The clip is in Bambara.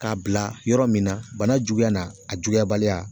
K'a bila yɔrɔ min, na bana juguya n'a juguyabaliya.